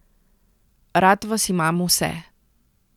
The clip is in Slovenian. Rad vas imam vse.